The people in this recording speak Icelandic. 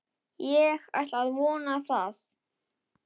Ég ætla að vona það.